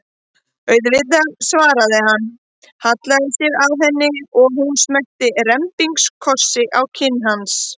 Auðvitað, svaraði hann, hallaði sér að henni og hún smellti rembingskossi á kinn hans.